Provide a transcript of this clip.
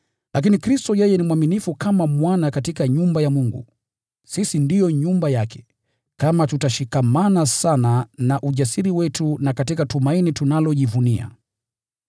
Lakini Kristo ni mwaminifu kama Mwana katika nyumba ya Mungu. Sisi ndio nyumba yake, kama tutashikilia sana ujasiri wetu na tumaini tunalojivunia.